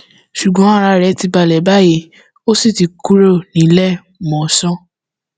ṣùgbọn ara rẹ ti balẹ báyìí ó sì ti kúrò níléemọsán